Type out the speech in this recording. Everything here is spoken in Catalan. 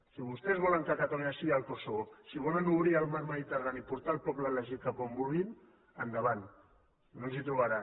si vostès volen que catalunya sigui el kosovo si volen obrir el mar mediterrani i portar el poble elegit cap on vulguin endavant no ens hi trobaran